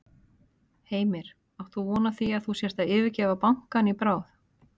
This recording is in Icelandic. Heimir: Átt þú von á því að þú sért að yfirgefa bankann í bráð?